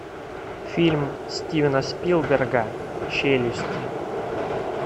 фильм стивена спилберга челюсти